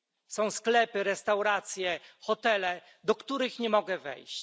Są sklepy, restauracje, hotele, do których nie mogę wejść.